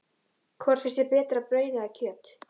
Hvort finnst þér betra, brauð eða kjöt?